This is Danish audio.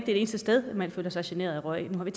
det eneste sted man føler sig generet af røg nu har vi